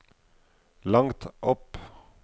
langt opp